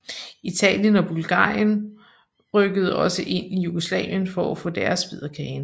Italien og Bulgarien rykkede også ind i Jugoslavien for at få deres bid af kagen